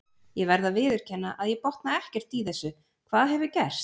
Ég verð að viðurkenna að ég botna ekkert í þessu, hvað hefur gerst?